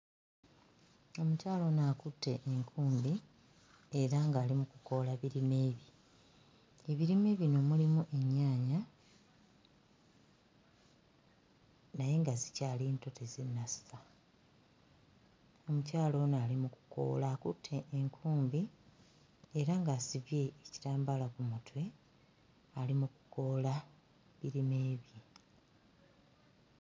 Omukyala ono akutte enkumbi era ng'ali mu kukoola birime. Ebirime bino mulimu ennyaanya naye nga zikyali nto tezinnassa. Omukyala ono ali mu kukoola akutte enkumbi era ng'asibye ekitambaala ku mutwe, ali mu kukoola birime bye.